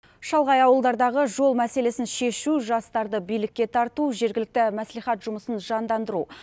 шалғай ауылдардағы жол мәселесін шешу жастарды билікке тарту жергілікті маслихат жұмысын жандандыру